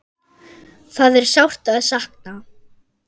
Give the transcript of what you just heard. Það er sárt að sakna.